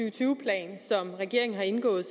og tyve plan som regeringen har indgået